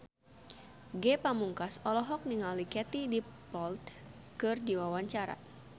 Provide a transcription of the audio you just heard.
Ge Pamungkas olohok ningali Katie Dippold keur diwawancara